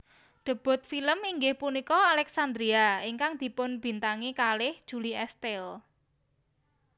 Debut film inggih punika Alexandria ingkang dipunbintangi kalih Julie Estelle